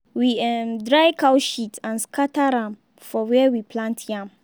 we um dry cow shit and scatter am for where we plant yam.